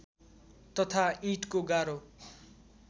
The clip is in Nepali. तथा ईँटको गारो